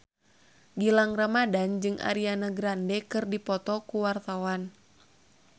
Gilang Ramadan jeung Ariana Grande keur dipoto ku wartawan